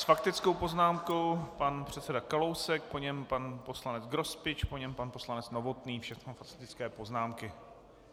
S faktickou poznámkou pan předseda Kalousek, po něm pan poslanec Grospič, po něm pan poslanec Novotný, všechno faktické poznámky.